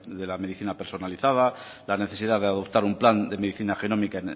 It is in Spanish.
de la medicina personalizada la necesidad de adoptar un plan de medicina genómica